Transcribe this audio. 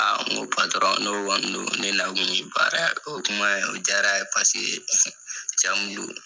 n ko n'o kɔni do ne na kun ye baara ye o kuma in o jaaara ye paseke cɛ mun do